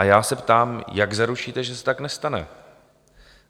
A já se ptám, jak zaručíte, že se tak nestane?